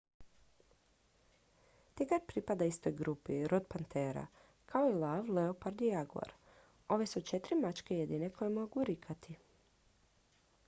tigar pripada istoj grupi rod pantera kao i lav leopard i jaguar. ove su četiri mačke jedine koje mogu rikati